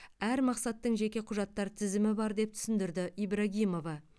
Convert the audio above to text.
әр мақсаттың жеке құжаттар тізімі бар деп түсіндірді ибрагимова